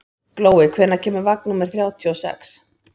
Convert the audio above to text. Glói, hvenær kemur vagn númer þrjátíu og sex?